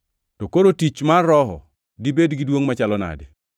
To koro tich mar Roho dibed gi duongʼ machalo nadi?